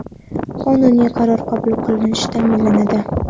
qonuniy qaror qabul qilinish ta’minlanadi.